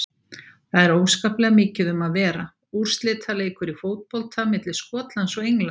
Það er óskaplega mikið um að vera, úrslitaleikur í fótbolta milli Skotlands og Englands.